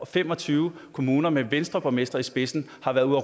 fem og tyve kommuner med venstreborgmestre i spidsen har været ude